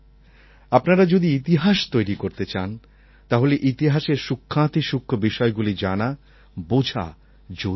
আপনারা যদি ইতিহাস তৈরি করতে চান তাহলে ইতিহাসের সূক্ষ্মাতিসূক্ষ্ম বিষয়গুলি জানা বোঝা জরুরি